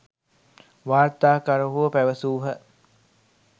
වාර්තාකරුවෝ පැවැසූහ.